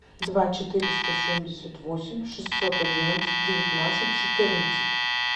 два четыреста семьдесят восемь шестьсот одиннадцать девятнадцать четырнадцать